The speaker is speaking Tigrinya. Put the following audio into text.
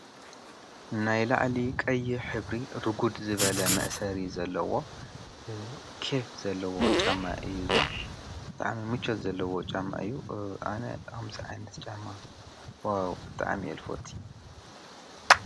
ናይ ላዕሊ ቀይሕ ሕብሪ ርጉድ ዝበለ መእሰሪ ዘለዎ ኬፍ ዘለዎ ጫማ እዩ:: እዙይ ብጣዕሚ ምቾት ዘለዎ ጫማ እዩ:: ኣነ ከምዚ ዓይነት ጫማ ዋው ብጣዕሚ አየ ዝፈቱ።